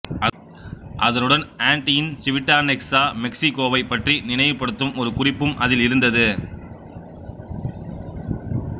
அதனுடன் ஆண்டியின் சிவிட்டாநெக்ஸொ மெக்ஸிகோவைப் பற்றி நினைவுபடுத்தும் ஒரு குறிப்பும் அதில் இருந்தது